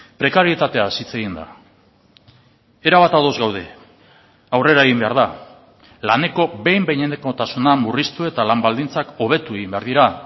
prekarietateaz hitz egin da erabat ados gaude aurrera egin behar da laneko behin behinekotasuna murriztu eta lan baldintzak hobetu egin behar dira